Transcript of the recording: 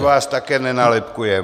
My vás také nenálepkujeme.